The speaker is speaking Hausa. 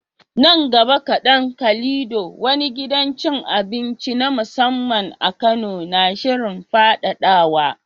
Nan gaba kaɗan, Calido, wani gidan cin abinci na musamman a Kano, na shirin faɗaɗawa